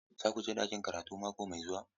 Za ku je ɗakin karatu mako mai zuwa?